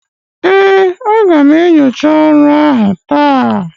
ee, a ga m enyocha ọrụ taa